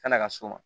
Kana ka s'o ma